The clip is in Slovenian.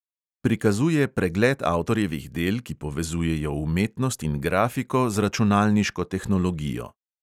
Prikazuje pregled avtorjevih del, ki povezujejo umetnost in grafiko z računalniško tehnologijo.